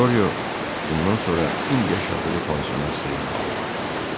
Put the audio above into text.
Qoryo bundan sonra indi yaşadığı pansiyona sığınmalı oldu.